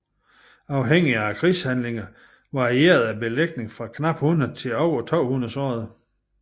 Afhængigt af krigshandlingerne varierede belægningen fra knap 100 til over 200 sårede